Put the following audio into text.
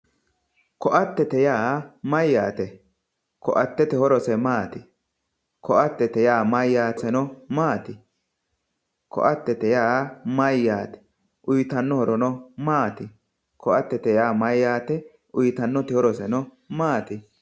ko"atete yaa mayaate ko"atete horose maati ko"atete yaa mayaateno maati ko"atete yaa mayaate uyiitanno horono maati ko"atete yaa mayaate uyiitanno horoseno maati